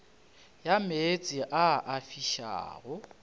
ya meetse a a fišago